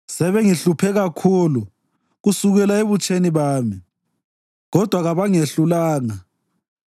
sebengihluphe kakhulu kusukela ebutsheni bami, kodwa kabangehlulanga.